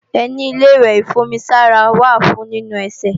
Ẹní Ilé-ìwẹ̀ ìfún-omi-sára wà fún nínu ẹsẹ̀